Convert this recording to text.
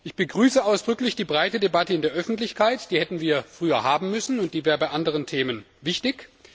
Ich begrüße ausdrücklich die breite Debatte in der Öffentlichkeit, die hätten wir früher haben müssen und die wäre bei anderen Themen wichtig.